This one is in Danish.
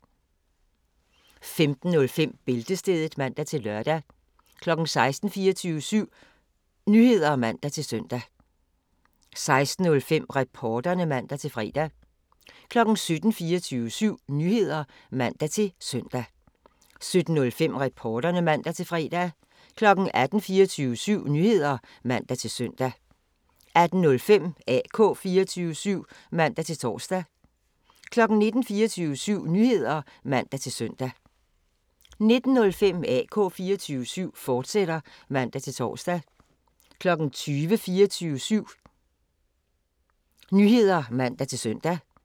15:05: Bæltestedet (man-lør) 16:00: 24syv Nyheder (man-søn) 16:05: Reporterne (man-fre) 17:00: 24syv Nyheder (man-søn) 17:05: Reporterne (man-fre) 18:00: 24syv Nyheder (man-søn) 18:05: AK 24syv (man-tor) 19:00: 24syv Nyheder (man-søn) 19:05: AK 24syv, fortsat (man-tor) 20:00: 24syv Nyheder (man-søn)